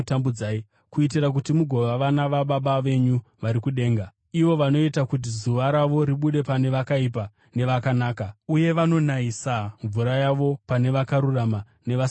kuitira kuti mugova vana vaBaba venyu vari kudenga. Ivo vanoita kuti zuva ravo ribude pane vakaipa nevakanaka uye vanonayisa mvura yavo pane vakarurama nevasakarurama.